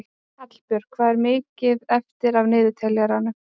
Hallbjörg, hvað er mikið eftir af niðurteljaranum?